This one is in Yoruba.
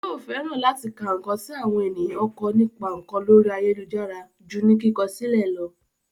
Yóò fẹ́ràn láti ka ǹkan tí àwọn ènìyàn kọ nípa ǹkan lórí ayélujára ju ní kíkọ sílẹ̀ lọ